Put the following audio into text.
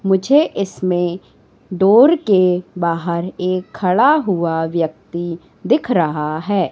मुझे इसमें डोर के बाहर एक खड़ा हुआ व्यक्ति दिख रहा है।